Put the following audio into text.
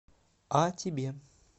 а тебе